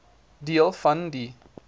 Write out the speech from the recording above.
deel van die